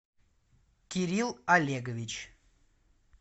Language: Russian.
кирилл олегович